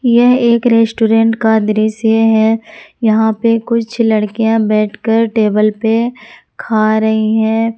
यह एक रेस्टोरेंट का दृश्य है यहां पे कुछ लड़कियां बैठ कर टेबल पर खा रही है।